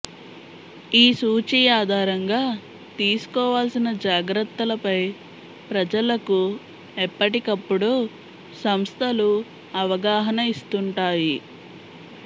ఈ సూచీ ఆధారంగా తీసుకోవాల్సిన జాగ్రత్తలపై ప్రజలకు ఎప్పటికప్పుడు సంస్థలు అవగాహన ఇస్తుంటాయి